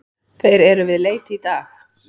Þeir eru við leit í dag.